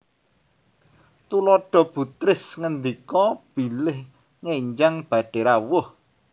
Tuladha Bu Tris ngendika bilih ngenjang badhé rawuh